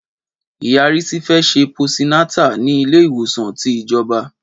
Ìyá Risi fẹ sẹ posi nàtá ni ìle iwosan ti ìjọ̀bá